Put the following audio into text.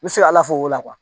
N bɛ se ka ala fo o la